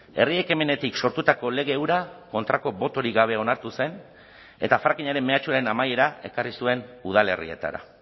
herri ekimenetik sortutako lege hura kontrako botorik gabe onartu zen eta frackingaren mehatxuaren amaiera ekarri zuen udalerrietara